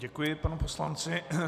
Děkuji panu poslanci.